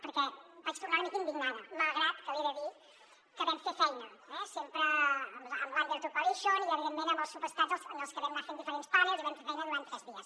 perquè vaig tornar una mica indignada malgrat que li he de dir que vam fer feina sempre amb l’under2 coalition i evidentment amb els subestats amb els que vam anar fent diferents panels i vam fer feina durant tres dies